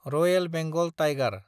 Royal Bengal tiger